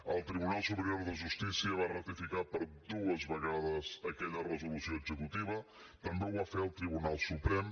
el tribunal superior de justícia va ratificar dues vegades aquella resolució executiva també ho va fer el tribunal suprem